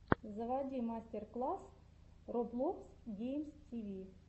заводи мастер класс роблокс геймс тиви